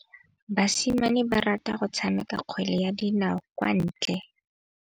Basimane ba rata go tshameka kgwele ya dinaô kwa ntle.